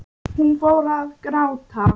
Hún fór að gráta.